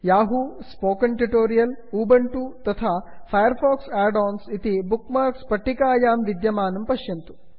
Yahoo spoken tutorial Ubuntu तथा Firefox add ons इति bookmarks पट्टिकायां विद्यमानं पश्यन्तु